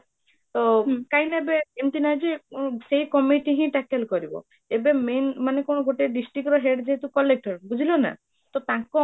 ତ କାହିଁକି ନା ଏବେ ଏମିତି ନାହିଁ ଯେ ସେ committee ହି tackle କରିବ, ଏବେ main ମାନେ କଣ ଗୋଟେ district ର head ଯେହେତୁ collector ବୁଝିଲନା ତ ତାଙ୍କ